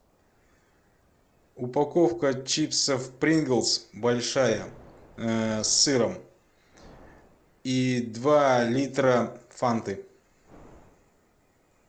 упаковка чипсов принглс большая с сыром и два литра фанты